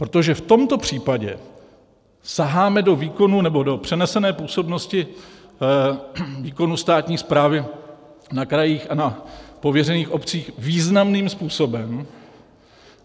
Protože v tomto případě saháme do výkonu nebo do přenesené působnosti výkonu státní správy na krajích a na pověřených obcích významným způsobem.